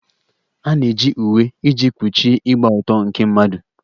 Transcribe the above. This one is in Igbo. A na-eji uwe iji kpuchie ịgba ọtọ nke mmadụ.